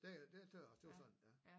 Det tøt jeg også det var sådan ja